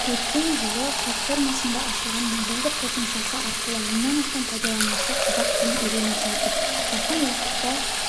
өткен жылы платформасында ашылған мобильдік қосымшасы арқылы мыңнан астам пайдаланушы қазақ тілін үйреніп жатыр жақын уақытта